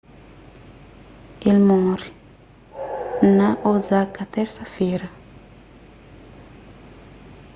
el móre na osaka térsa-fera